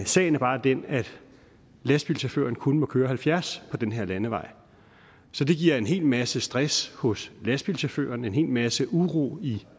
sagen er bare den at lastbilchaufføren kun må køre halvfjerds på den her landevej det giver en hel masse stress hos lastbilchaufføren og en hel masse uro i